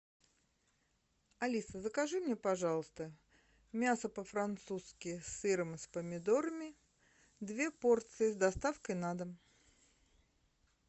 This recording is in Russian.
алиса закажи мне пожалуйста мясо по французски с сыром и с помидорами две порции с доставкой на дом